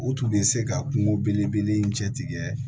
U tun bɛ se ka kungo belebele in cɛtigɛ